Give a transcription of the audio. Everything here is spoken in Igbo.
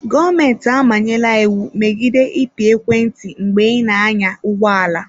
Gọọmentị amanyela iwu megide ịpị ekwentị mgbe ị na-anya ụgbọ ala.